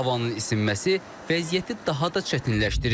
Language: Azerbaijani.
Havanın isinməsi vəziyyəti daha da çətinləşdirir.